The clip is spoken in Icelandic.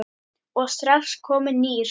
og strax kominn nýr.